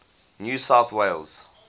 new south wales